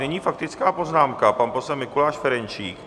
Nyní faktická poznámka, pan poslanec Mikuláš Ferjenčík.